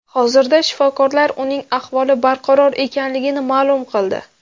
Hozirda shifokorlar uning ahvoli barqaror ekanligini ma’lum qildi.